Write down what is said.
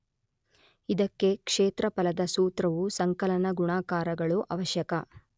ಇದಕ್ಕೆ ಕ್ಷೇತ್ರಫಲದ ಸೂತ್ರವೂ ಸಂಕಲನ ಗುಣಾಕಾರಗಳೂ ಆವಶ್ಯಕ.